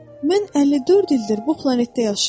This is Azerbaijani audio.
Mən 54 ildir bu planetdə yaşayıram.